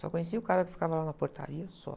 Só conhecia o cara que ficava lá na portaria, só.